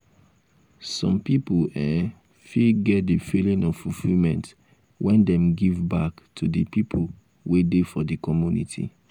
um some pipo um fit get di feeling of fulfillment when dem give um back to di people wey dey for di community